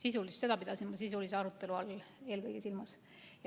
Eelkõige seda pidasin sisulise arutelu all silmas.